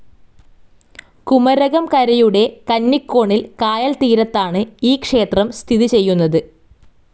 കുമരകം കരയുടെ കന്നികോണിൽ കായൽ തീരത്താണ് ഈ ക്ഷേത്രം സ്ഥിതി ചെയ്യുന്നത്.